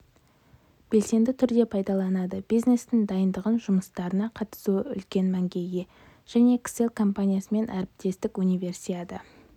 белсенді түрде пайдаланады бизнестің дайындық жұмыстарына қатысуы үлкен мәнге ие және кселл компаниясымен әріптестік универсиада